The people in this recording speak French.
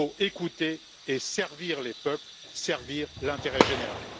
Il faut écouter et servir les peuples, servir l'intérêt général.